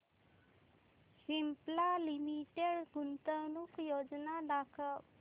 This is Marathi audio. सिप्ला लिमिटेड गुंतवणूक योजना दाखव